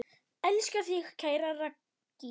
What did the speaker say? Elska þig, kæra Raggý.